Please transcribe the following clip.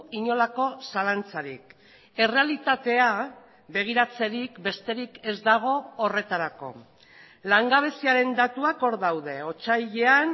inolako zalantzarik errealitatea begiratzerik besterik ez dago horretarako langabeziaren datuak hor daude otsailean